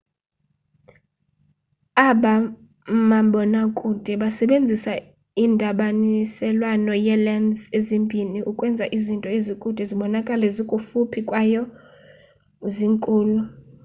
aba mabonakude basebenzisa indabaniselwano yee-lens ezimbini ukwenza izinto ezikude zibonakale zikufuphi kwaye zinkulu